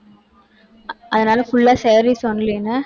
அஹ் அதனால, full ஆ, sarees only ன்னா